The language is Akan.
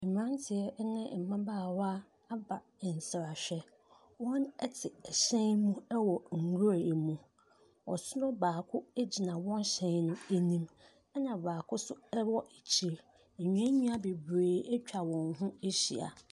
Mmeranteɛ ne mmabaawa aba nsrahwɛ. Wɔte ɛhyɛn mu wɔ nwura mu. Ɔsono baako gyina wɔn hyɛn no anim, ɛna baako nso wɔ akyire. Nnuannua bebree atwa wɔn ho ahyia.